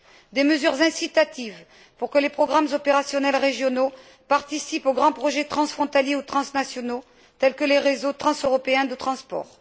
Des mesures incitatives pour que les programmes opérationnels régionaux participent aux grands projets transfrontaliers ou transnationaux, tels que les réseaux transeuropéens de transport.